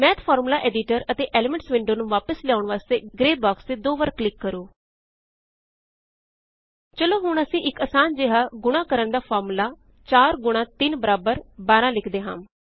math formula editor ਅਤੇ elements window ਨੂੰ ਵਾਪਿਸ ਲਿਆਉਣ ਵਾਸਤੇ ਗ੍ਰੇ ਬਾਕ੍ਸ ਤੇ ਦੋ ਵਾਰ ਕਲਿਕ ਕਰੋ ਚਲੋ ਹੁਣ ਅਸੀਂ ਇਕ ਆਸਾਨ ਜਿਹਾ ਗੁਣਾ ਕਰਣ ਦਾ ਫ਼ਾਰਮੂਲਾ 4 ਗੁਣਾ 3 ਬਰਾਬਰ ਬਾਰਾਂ ਲਿਖਦੇ ਹਾਂ